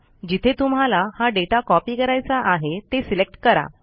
जिथे तुम्हाला हा डेटा कॉपी करायचा आहे ते सिलेक्ट करा